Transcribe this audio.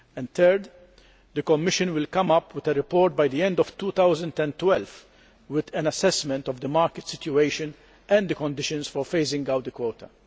Thirdly, the Commission will come up with a report by the end of 2012 with an assessment of the market situation and the conditions for phasing out the quota.